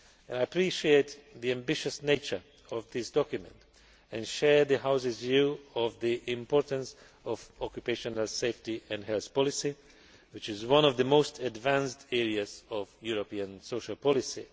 I appreciate the ambitious nature of this document and share the House's view of the importance of occupational safety and health policy, which is one of the most advanced areas of European social policy.